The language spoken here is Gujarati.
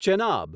ચેનાબ